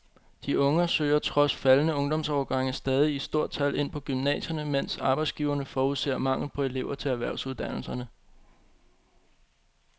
De unge søger trods faldende ungdomsårgange stadig i stort tal ind på gymnasierne, mens arbejdsgiverne forudser mangel på elever til erhvervsuddannelserne.